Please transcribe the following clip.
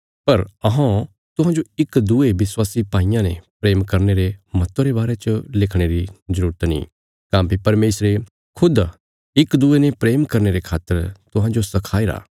पर अहौं तुहांजो इक दूये विश्वासी भाईयां ने प्रेम करने रे महत्व रे बारे च लिखणे री जरूरत नीं काँह्भई परमेशरे खुद इक दूये ने प्रेम करने रे खातर तुहांजो सखाईरा